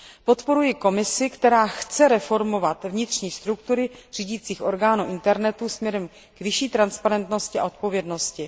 Podporuji Komisi, která chce reformovat vnitřní struktury řídících orgánů internetu směrem k vyšší transparentnosti a odpovědnosti.